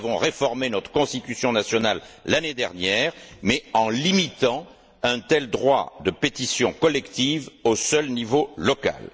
Nous avons réformé notre Constitution nationale l'année dernière, mais en limitant un tel droit de pétition collective au seul niveau local.